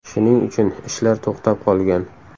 Shuning uchun ishlar to‘xtab qolgan.